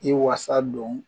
I wasa don